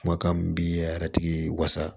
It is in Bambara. Kumakan min bi a yɛrɛtigi wasa